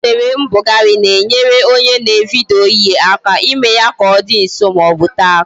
Nsere mbugharị na-enyere onye na-evidyo ihe aka ime ya ka ọ dị nso maọbu tee aka